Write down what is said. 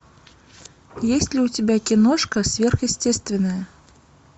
есть ли у тебя киношка сверхъестественное